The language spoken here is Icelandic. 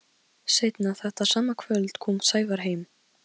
Ég er búinn að vera í einangrun í tólf daga.